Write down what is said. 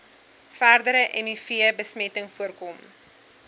verdere mivbesmetting voorkom